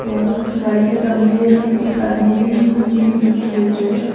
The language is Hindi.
और गाड़ी के सामने में एक आदमी भी नीचे में झुक के बैठ रहा है।